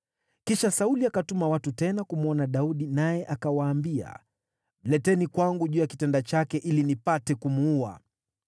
Kisha Sauli akatuma watu tena kumwona Daudi naye akawaambia, “Mleteni kwangu juu ya kitanda chake ili nipate kumuua.”